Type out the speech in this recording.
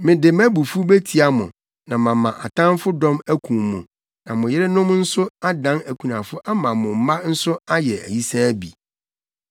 Mede mʼabufuw betia mo na mama atamfo dɔm akum mo na mo yerenom nso adan akunafo ama mo mma nso ayɛ ayisaa bi.